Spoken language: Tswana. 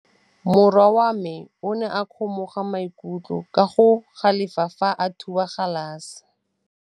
Morwa wa me o ne a kgomoga maikutlo ka go galefa fa a thuba galase.